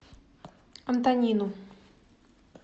антонину